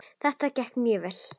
Þetta gekk mjög vel.